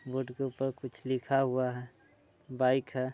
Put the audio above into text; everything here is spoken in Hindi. बोर्ड के ऊपर कुछ लिखा हुआ है बाइक है।